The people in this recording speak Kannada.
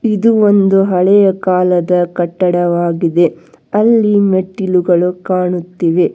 ಇದು ಒಂದು ಹಳೆಯ ಕಾಲದ ಕಟ್ಟಡವಾಗಿದೆ ಅಲ್ಲಿ ಮೆಟ್ಟಿಲುಗಳು ಕಾಣುತ್ತಿವೆ.